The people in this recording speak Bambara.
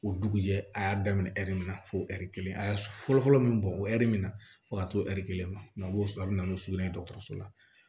O dugujɛ a y'a daminɛ ɛri min na fo ɛri kelen a fɔlɔ fɔlɔ min bɔn o ɛri min na fo ka t'o ɛri kelen ma a b'o sɔrɔ a bɛ na n'o sugunɛ ye dɔgɔtɔrɔso la